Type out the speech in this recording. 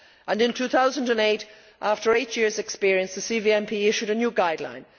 In 2008, after eight years' experience, the CVMP issued a new guideline.